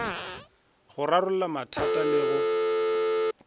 go rarolla mathata le go